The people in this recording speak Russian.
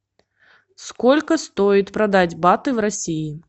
сколько стоит продать баты в россии